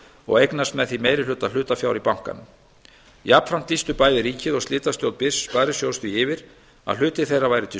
og eignast með því meiri hluta hlutafjár í bankanum jafnframt lýstu bæði ríkið og slitastjórn byrs sparisjóðs því yfir að hlutir þeirra væru til